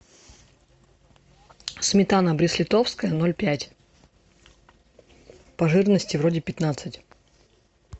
сметана брест литовская ноль пять по жирности вроде пятнадцать